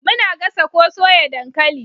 Muna gasa ko soya dankali